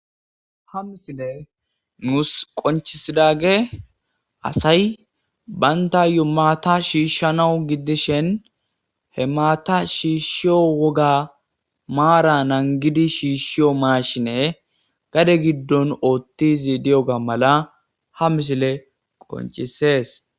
Ha misiley nus qoncisidagey asay bantayo maata shishayo woga maata nangidi shiishiyo maashine gade gidon oothidi diyoga mala ha misiley qoncises